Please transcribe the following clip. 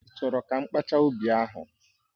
Ị́ chọrọ ka mkpaacha ubi ahụ